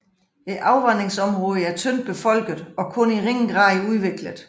Afvandingsområdet er tyndt befolket og kun i ringe grad udviklet